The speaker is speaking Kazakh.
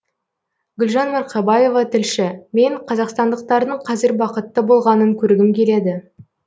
гүлжан марқабаева тілші мен қазақстандықтардың қазір бақытты болғанын көргім келеді